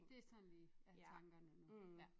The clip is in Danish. Det sådan lige hvad tankerne nu ja